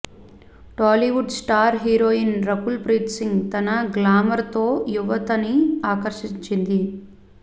Tollywood star heroine Rakul Preet Singh తన glamour తో యువతని ఆకర్షించింది